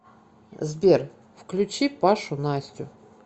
сбер включи пашу настю